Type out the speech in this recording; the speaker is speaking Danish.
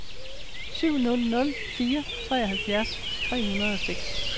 syv nul nul fire treoghalvfjerds tre hundrede og seks